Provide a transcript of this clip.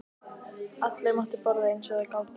Allir máttu borða eins og þeir gátu.